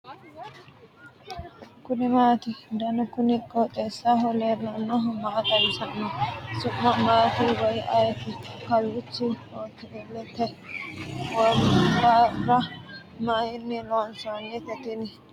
kuni maati ? danu kuni qooxeessaho leellannohu maa xawisanno su'mu maati woy ayeti ? kawiichi hotelet ? wombarra maynni loonsoonite tini ?